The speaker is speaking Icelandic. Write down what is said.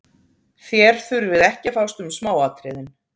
Þér þurfið ekki að fást um smáatriðin.